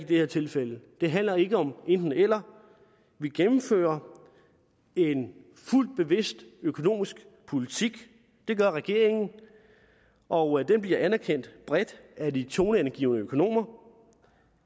det her tilfælde det handler ikke om enten eller vi gennemfører en fuldt bevidst økonomisk politik det gør regeringen og den bliver bredt anerkendt af de toneangivende økonomer